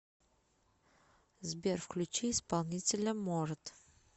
сбер включи исполнителя морад